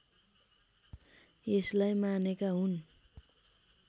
यसलाई मानेका हुन्